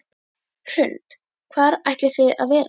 Hrund: Hvar ætlið þið að vera?